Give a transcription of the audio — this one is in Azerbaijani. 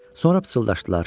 Sonra pıçıldaşdılar.